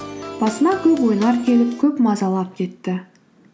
басыма көп ойлар келіп көп мазалап кетті